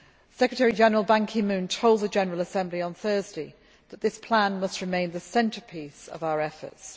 Secretary General Ban Ki moon told the General Assembly on Thursday that this plan must remain the centrepiece of our efforts.